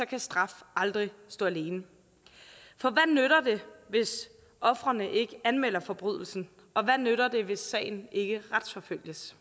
kan straf aldrig stå alene for hvad nytter det hvis ofrene ikke anmelder forbrydelsen og hvad nytter det hvis sagen ikke retsforfølges